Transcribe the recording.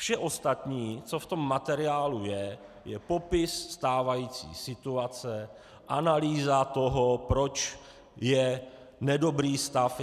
Vše ostatní, co v tom materiálu je, je popis stávající situace, analýza toho, proč je nedobrý stav